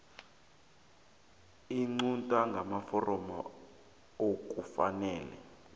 iqunta ngamaforomo okufanele